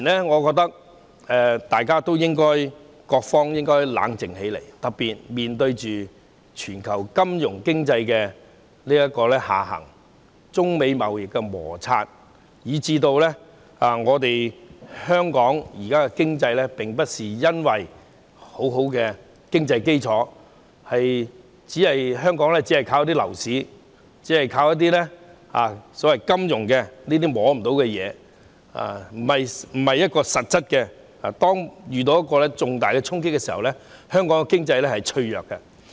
我覺得當前各方面應該冷靜起來，特別面對全球金融經濟下行等中美貿易摩擦問題，香港現時沒有很穩固的經濟基礎，只靠樓市和金融等非實質的行業支撐，一旦遇到重大衝擊，香港的經濟是脆弱的。